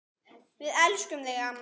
Við elskum þig amma.